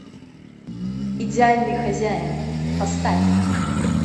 идеальный хозяин поставь